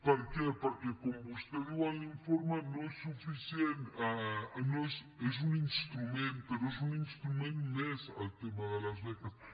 per què perquè com vostè diu en l’informe és un instrument però és un instrument més el tema de les beques